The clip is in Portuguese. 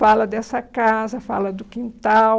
Fala dessa casa, fala do quintal.